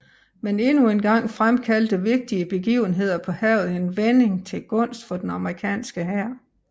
Men endnu en gang fremkaldte vigtige begivenheder på havet en vending til gunst for den amerikanske hær